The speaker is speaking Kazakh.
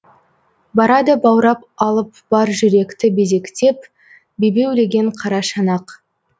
барады баурап алып бар жүректі безектеп бебеулеген қара шанақ